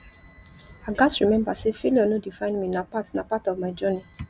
i gats remember say failure no define me na part na part of my journey